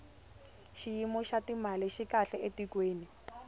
xiyimo xa timali xi kahle etikweni